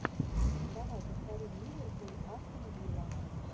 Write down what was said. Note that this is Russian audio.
давай повторим ливерпуль астон вилла